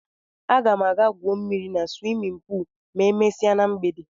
Aga m aga gwuo mmiri na swimin puul ma emesie na mgbede.